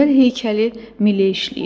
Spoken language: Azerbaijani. Bu gözəl heykəli Mille işləyib.